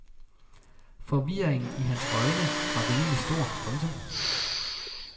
Forvirringen i hans øjne var rimelig stor. punktum